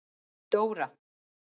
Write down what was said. Dóra